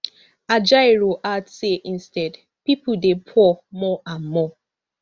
ajaero add say instead pipo dey poor more and more